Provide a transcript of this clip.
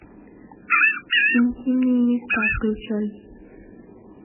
интимные места включай